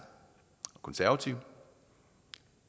konservative